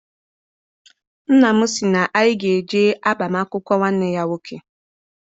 Nna m sị na anyị ga eje agbam akwụkwọ nwanne ya nwoke.